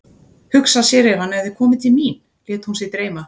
Hugsa sér ef hann hefði komið til mín, lét hún sig dreyma.